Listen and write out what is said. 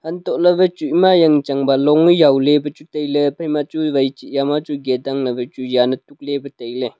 untohley wai chu ema yang changba long yaw lipa chu tailey ephaima chu wai chih eya machu gate ang le wai chu jan lipa tailey.